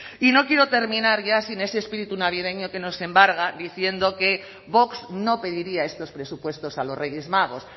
y no quiero terminar ya sin ese espíritu navideño que nos embarga diciendo que vox no pediría estos presupuestos a los reyes magos